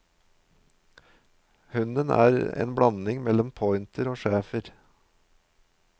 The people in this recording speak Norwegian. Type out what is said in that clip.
Hunden er en blanding mellom pointer og schäfer.